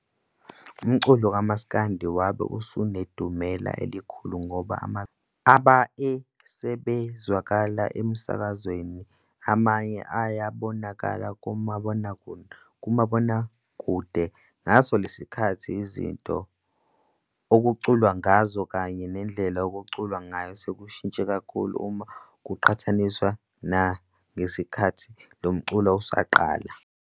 Umculo kamsakandi wabe usenedumela elikhulu ngoba amaculo amaningi abae esezwakala emskazweni amanye ayabonakala kumabonakude. Ngaso lesi sikathathi izinto okuculwa ngazo kanye nendlela okuculwa ngayo sekushintshe kakhulu uma kuqhathaniswa nangesikathi lomculo usaqala.